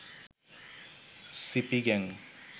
CP gang